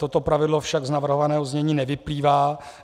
Toto pravidlo však z navrhovaného znění nevyplývá.